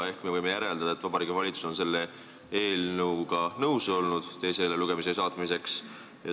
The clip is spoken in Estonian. Ehk me võime järeldada, et Vabariigi Valitsus on olnud nõus selle eelnõu teisele lugemisele saatmisega.